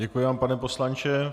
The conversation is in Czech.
Děkuji vám, pane poslanče.